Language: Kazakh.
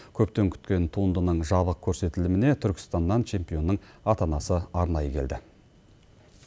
көптен күткен туындының жабық көрсетіліміне түркістаннан чемпионның ата анасы арнайы келді